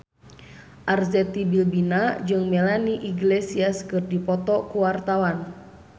Arzetti Bilbina jeung Melanie Iglesias keur dipoto ku wartawan